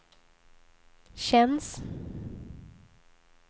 känns